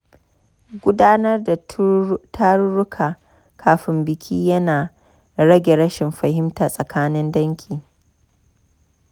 Gudanar da tarurruka kafin biki yana rage rashin fahimta tsakanin dangi.